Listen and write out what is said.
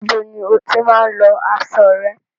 Ibo ni o tí máa ń lọ aṣo rẹ?